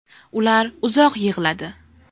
Ular uzoq yig‘ladi.